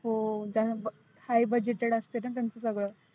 हो त्यान high budget असतं ना त्यांच सगळ.